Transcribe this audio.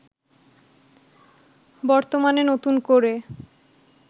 বর্তমানে নতুন করে